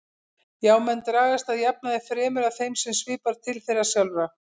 Já, menn dragast að jafnaði fremur að þeim sem svipar til þeirra sjálfra.